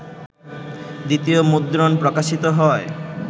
দ্বিতীয় মুদ্রণ প্রকাশিত হয়